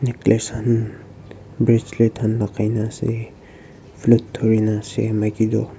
necklace khan bracelet khan lakai nah ase flate durhi nah ase maiki du --